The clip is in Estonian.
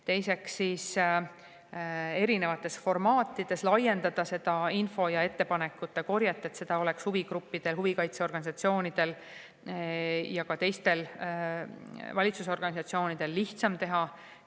Teiseks, erinevates formaatides laiendada info ja ettepanekute korjet, et neid oleks huvigruppidel, huvikaitseorganisatsioonidel ja ka teistel lihtsam valitsus.